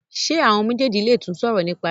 ṣe àwọn méjèjì lè tún sòrò nípa rẹ.